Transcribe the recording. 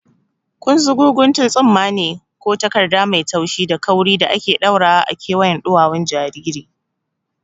Kunzugu guntun tsumma ne ko takarda mai taushi da kauri da ake ɗaurawa a kewayen ɗuwawun jariri.